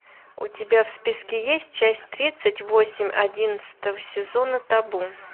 у тебя в списке есть часть тридцать восемь одиннадцатого сезона табу